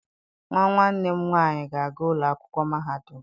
Nwa nwanne m nwaanyị ga-aga ụlọ akwụkwọ mahadum.